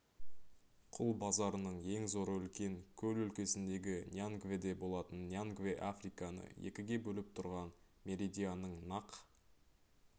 құл базарының ең зоры үлкен көл өлкесіндегі ньянгведе болатын ньянгве африканы екіге бөліп тұрған меридианның нақ